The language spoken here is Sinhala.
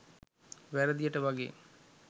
වැරදියට වගේ